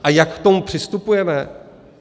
A jak k tomu přistupujeme?